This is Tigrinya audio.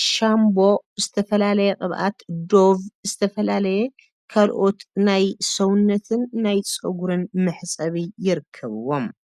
ሻምቦ ዝተፈላለዩ ቅባኣት ዶቭ ካልኦት ዝተፈላለዩ ናይ ሰውነትን ናይ ፀጉርን መሕፀቢ ይርከብዎም።